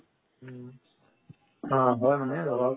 আ হয় মানে